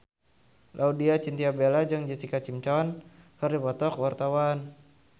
Laudya Chintya Bella jeung Jessica Simpson keur dipoto ku wartawan